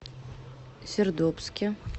сердобске